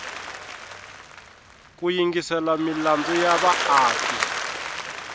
ku yingisela milandzu ya vaaki